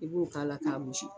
I b'o ka la ka gosi.